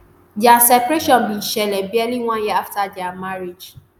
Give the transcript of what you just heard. dia separation bin shele barely one year afta dia marriage